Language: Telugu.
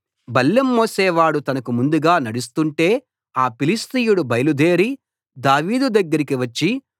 బల్లెం మోసేవాడు తనకు ముందుగా నడుస్తుంటే ఆ ఫిలిష్తీయుడు బయలుదేరి దావీదు దగ్గరికి వచ్చి